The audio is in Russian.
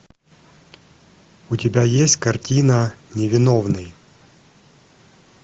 у тебя есть картина невиновный